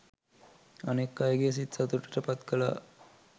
අනෙක් අයගේ සිත් සතුටට පත් කළා